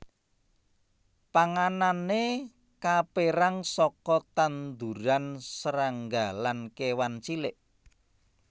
Panganané kapérang saka tetanduran srangga lan kéwan cilik